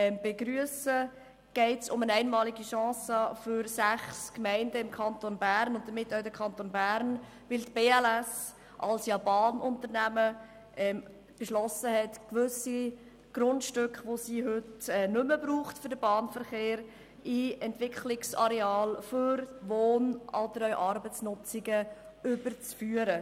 Hier geht es um eine einmalige Chance für sechs Gemeinden im Kanton Bern und damit auch den Kanton Bern, weil die BLS als Bahnunternehmen beschlossen hat, gewisse Grundstücke, die sie heute für den Bahnverkehr nicht mehr braucht, in Entwicklungsareale für Wohn- und andere Arbeitsnutzungen zu überführen.